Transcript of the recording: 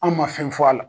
An ma fɛn fɔ a la